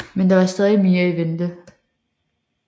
Men der var stadig mere i vente